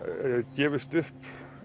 gefist upp